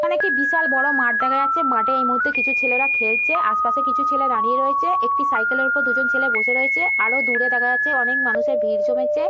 এখানে একটি বিশাল বড় মাঠ দেখা যাচ্ছে মাঠে এই মুহূর্তে কিছু ছেলেরা খেলছে আশেপাশে কিছু ছেলে দাঁড়িয়ে রয়েছে। একটি সাইকেল -এব় উপর দুজন ছেলে বসে রয়েছে আরো দূরে দেখা যাচ্ছে অনেক মানুষের ভিড় জমেছে।